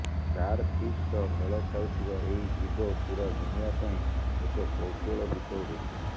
star fees ସହ ମେଳ ଖାଉଥିବା ଏହି ଜୀବ ପୂରା ଦୁନିଆ ପାଇଁ ଏକ କୌତୁହଳ ବିଷୟ ହୋଇଛି